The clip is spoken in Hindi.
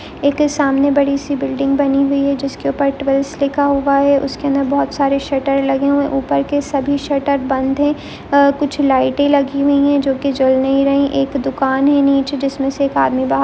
एक सामने बड़ी सी बिल्डिंग बनी हुई है जिसके ऊपर ट्वाइस लिखा हुआ है उसके अंदर बहुत सारे शरट लगे हुए हैं ऊपर के सभी शटर बंद है कुछ लाइटे लगी हुई है जो की जल नहीं रही है एक दुकान है निचे जिसमे से एक आदमी बा--